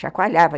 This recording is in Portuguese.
chacoalhava.